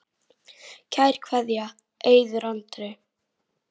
Kær kveðja, Eiður Andri.